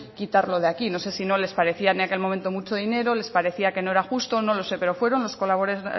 quitarlo de aquí no sé si no les parecía en aquel momento mucho dinero les parecía que no era justo no lo sé pero fueron